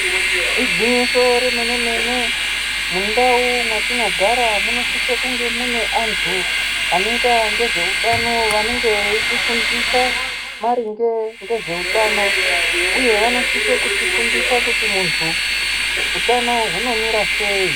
Igwinyiso remene mene, mundau mwatinogara munosise kunge mune antu anoita ngezveutano vanenge veitifundisa maringe ngezveutano, Uye vanosise kutifundisa kuti muntu utano hunomira sei.